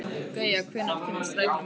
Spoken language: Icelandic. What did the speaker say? Gauja, hvenær kemur strætó númer tvö?